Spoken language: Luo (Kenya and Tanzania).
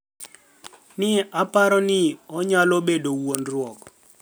ni e oparo nii oniyalo bedo wuonidruok